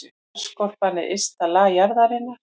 Jarðskorpan er ysta lag jarðarinnar.